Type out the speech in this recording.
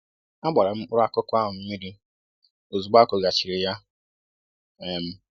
Agbara m mkpụrụ akụkụ ahụ mmiri ozugbo a kụgharịchara ya um